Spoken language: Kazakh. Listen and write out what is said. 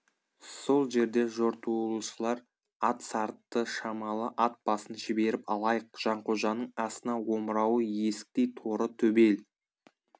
сол жерде жортуылшылар ат сарытты шамалы ат басын жіберіп алайық жанқожаның астына омырауы есіктей торы төбел